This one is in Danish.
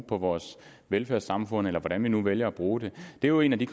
på vores velfærdssamfund eller hvordan vi nu vælger at bruge dem det er jo en af de